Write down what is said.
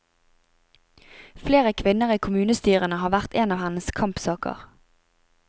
Flere kvinner i kommunestyrene har vært en av hennes kampsaker.